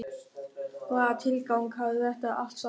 Hvaða tilgang hafði þetta allt saman?